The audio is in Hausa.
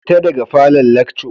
Fita daga falon lacco